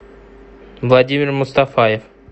владимир мустафаев